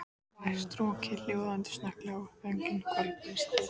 Hávært rokkið hljóðnaði snögglega og þögnin hvolfdist yfir.